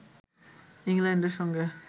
ইংল্যান্ডের সঙ্গে